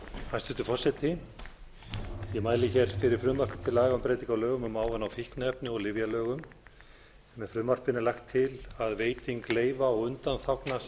hæstvirtur forseti ég mæli hér fyrir frumvarpi til laga um breytingu á lögum um ávana og fíkniefni og lyfjalögum með frumvarpinu er lagt til að veiting leyfa og undanþágna